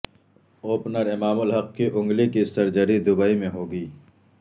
opener Imam ul-Haq کی انگلی کی سرجری دبئی میں ہوگئی